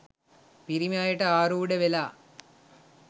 පිරිමි අයට ආරූඪ වෙලා